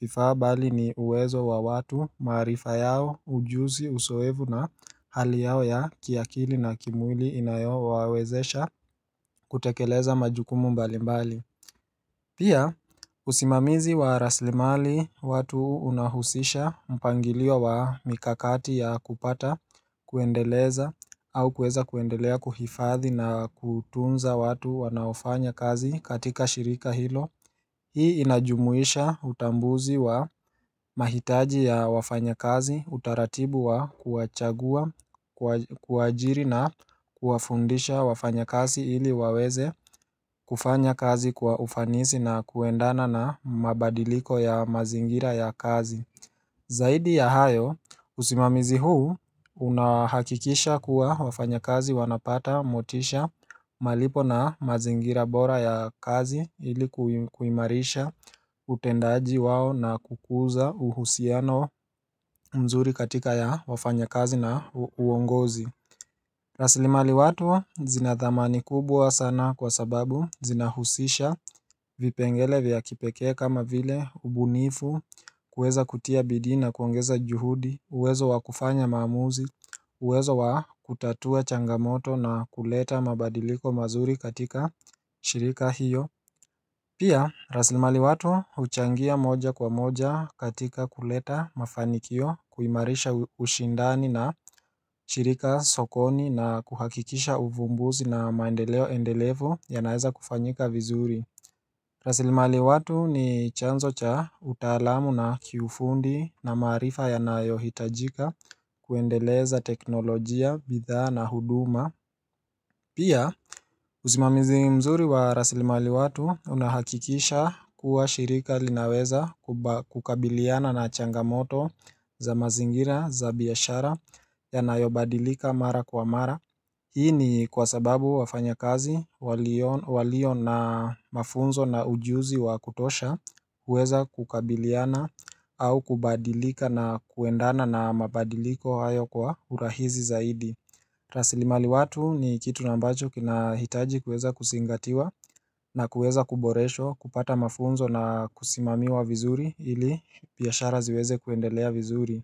vifaa bali ni uwezo wa watu marifa yao ujuzi uzoefu na hali yao ya kiakili na kimwili inayo wawezesha kutekeleza majukumu mbali mbali. Pia usimamizi wa rasilimali watu unahusisha mpangilio wa mikakati ya kupata kuendeleza au kueza kuendelea kuhifadhi na kutunza watu wanaofanya kazi katika shirika hilo Hii inajumuisha utambuzi wa mahitaji ya wafanyikazi utaratib ya kuwachagua kuajiri na kuafundisha wafanyikazi ili waweze kufanya kazi kwa ufanisi na kuendana na mabadiliko ya mazingira ya kazi Zaidi ya hayo, usimamizi huu unahakikisha kuwa wafanyikazi wanapata motisha malipo na mazingira bora ya kazi ilikuimarisha utendaji wao na kukuza uhusiano mzuri katika ya wafanya kazi na uongozi. Rasilimali watu zinathamani kubwa sana kwa sababu zinahusisha vipengele vya kipekee kama vile ubunifu kuweza kutia bidii na kuongeza juhudi uwezo wakufanya maamuzi uwezo wa kutatua changamoto na kuleta mabadiliko mazuri katika shirika hiyo Pia rasilimali watu uchangia moja kwa moja katika kuleta mafanikio kuimarisha ushindani na shirika sokoni na kuhakikisha uvumbuzi na maendeleo endelevu ya naeza kufanyika vizuri rasilimali watu ni chanzo cha utalamu na kiufundi na maarifa yanayo hitajika kuendeleza teknolojia, bidhaa na huduma Pia usimamizi mzuri wa rasilimali watu unahakikisha kuwa shirika linaweza kukabiliana na changamoto za mazingira za biashara yanayo badilika mara kwa mara. Hii ni kwa sababu wafanyikazi walio na mafunzo na ujuzi wa kutosha uweza kukabiliana au kubadilika na kuendana na mabadiliko hayo kwa urahizi zaidi. Rasilimali watu ni kitu ambacho kina hitaji kueza kuzingatiwa na kueza kuboreshwa kupata mafunzo na kusimamiwa vizuri ili biashara ziweze kuendelea vizuri.